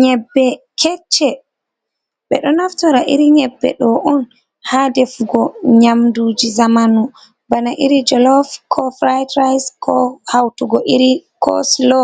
Nyebbe kecce.Be ɗo naftora iri nyebbe ɗo on ha ɗefugo nyamɗuji zamanu. Bana iri jolov, ko furaitrise, ko hautugo iri ko sulo